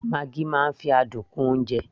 maggi máa ń fi adùn kún oúnjẹ